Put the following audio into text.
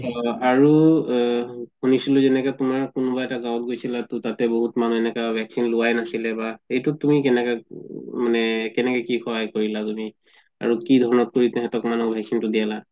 আৰু এহ শুনিছিলো যেনেকে তুমাৰ কোনোবা এটা গাওঁত গৈছিলা তাতে বহুত মানুহ এনেকা বহুত মানুহ vaccine লুৱাই নাছিলে বা এইটোত তুমি কেনেকে মানে কেনেকে কি সহায় কৰিলা তুমি আৰু কি ধৰণত তুমি তাহাতক vaccine তো দিয়ালা